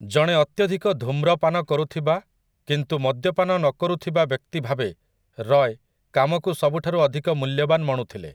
ଜଣେ ଅତ୍ୟଧିକ ଧୂମ୍ରପାନ କରୁଥିବା କିନ୍ତୁ ମଦ୍ୟପାନ ନକରୁଥିବା ବ୍ୟକ୍ତି ଭାବେ ରୟ୍ କାମକୁ ସବୁଠାରୁ ଅଧିକ ମୂଲ୍ୟବାନ ମଣୁଥିଲେ ।